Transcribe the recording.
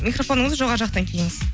микрофоныңызды жоғары жақтан киіңіз